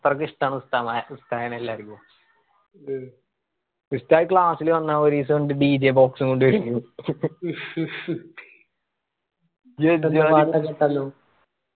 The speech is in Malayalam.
അത്രക്ക് ഇഷ്ടാണ് ഉസ്താമ്മ ഉസ്താദിനെ എല്ലാരിക്കു ഉസ്താദ് class ല് വന്ന ഒരീസം ഇണ്ട് DJ box ഉം കൊണ്ട് വരുന്ന്